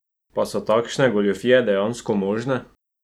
Pa so takšne goljufije dejansko možne?